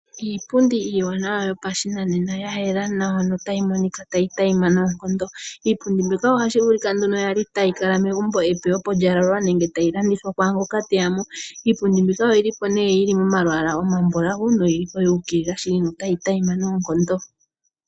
Iipundi iiwanawa yopashinanena. Ya yela nawa notayi monika tayi adhima noonkondo. Iipundi mbika otashi vulika nduno tayi kala megumbo epe opo lya lalwa nenge tayi landithwa kwaangoka teya mo. Iipundi mbika oyili po nee yili momalwaala omambulawu noyili po yuukilila shili notayi adhima noonkondo.